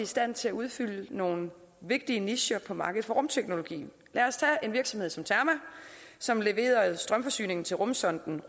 stand til at udfylde nogle vigtige nicher for markedet for rumteknologi lad os tage en virksomhed som terma som leverede strømforsyningen til rumsonden